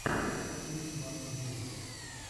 икс марк геминг